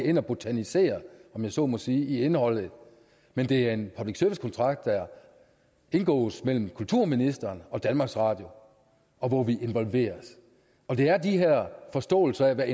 ind og botanisere om jeg så må sige i indholdet men det er en public service kontrakt der indgås mellem kulturministeren og danmarks radio og hvor vi involveres det er de her forståelser af hvad